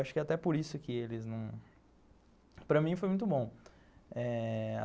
Acho que é até por isso que eles não... Para mim foi muito bom eh...